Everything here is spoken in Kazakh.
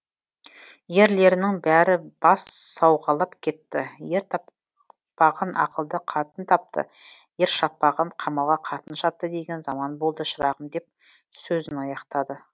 ерлерінің бәрі бас сауғалап кетті ер таппағын ақылды қатын тапты ер шаппағын қамалға қатын шапты деген заман болды шырағым деп сөзін аяқтады